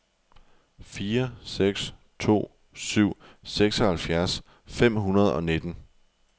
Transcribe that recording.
fire seks to syv seksoghalvfjerds fem hundrede og nitten